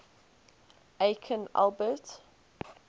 aikin albert